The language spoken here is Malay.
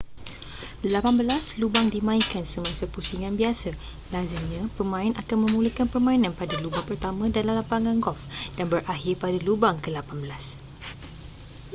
lapan belas lubang dimainkan semasa pusingan biasa lazimnya pemain akan memulakan permainan pada lubang pertama dalam lapangan golf dan berakhir pada lubang kelapan belas